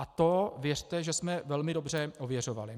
A to věřte, že jsme velmi dobře ověřovali.